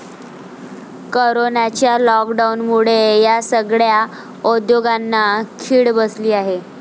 कोरोनाच्या लॉक डाऊनमुळे या सगळय़ा उद्योगांना खिळ बसली आहे.